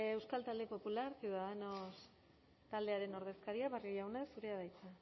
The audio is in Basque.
euskal talde popular ciudadanos taldearen ordezkaria barrio jauna zurea da hitza